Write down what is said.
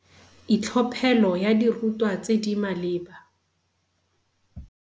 Itlhophelo ya dirutwa tse di maleba.